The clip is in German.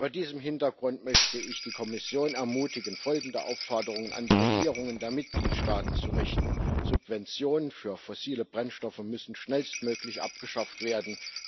Vor diesem Hintergrund möchte ich die Kommission ermutigen, folgende Aufforderung an die Regierungen der Mitgliedstaaten zu richten Subventionen für fossile Brennstoffe müssen schnellstmöglich abgeschafft werden.